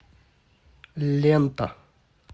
лента